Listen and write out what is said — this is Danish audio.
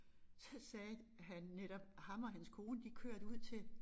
Så sagde han netop ham og hans kone de kørte ud til